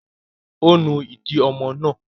Ó nu ìdí ọmọ náà?